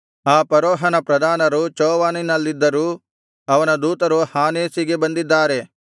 ಆ ಫರೋಹನ ಪ್ರಧಾನರು ಚೋವನಿನಲ್ಲಿದ್ದರೂ ಅವನ ದೂತರು ಹಾನೇಸಿಗೆ ಬಂದಿದ್ದಾರೆ